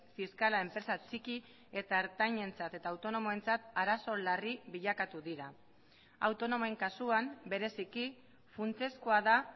fiskala enpresa txiki eta ertainentzat eta autonomoentzat arazo larri bilakatu dira autonomoen kasuan bereziki funtsezkoa da